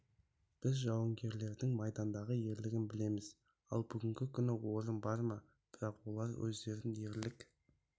біз жауынгерлердің майдандағы ерлігін білеміз ал бүгінгі күні орын бар ма бірақ олар өздерін ерлік